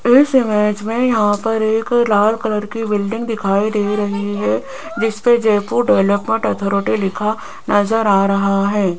इस इमेज में यहां पर एक लाल कलर की बिल्डिंग दिखाई दे रही है जिस पर जयपुर डेवलपमेंट अथॉरिटी लिखा नजर आ रहा है।